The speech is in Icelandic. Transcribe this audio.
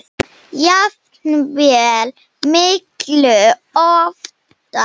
jafnvel miklu ofar.